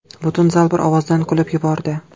Butun zal bir ovozdan kulib yubordi.